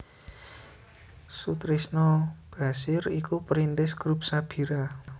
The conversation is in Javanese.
Soetrisno Bachir iku perintis Grup Sabira